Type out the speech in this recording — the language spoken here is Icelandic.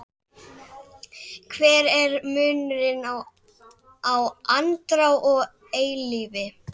Hver er munurinn á andrá og eilífð?